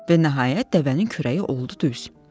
Və nəhayət dəvənin kürəyi oldu düz.